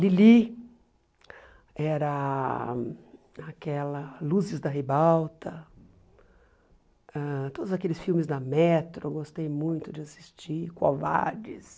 Lili, era aquela Luzes da Rebalta, ãh todos aqueles filmes da Metro, eu gostei muito de assistir, Covardes.